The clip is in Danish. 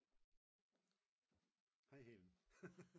Hej Hellen